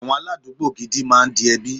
Àwọn aládùúgbò gidi máa ń di ẹbí.